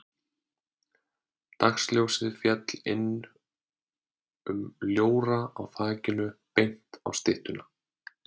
Dagsljósið féll inn um ljóra á þakinu beint á styttuna.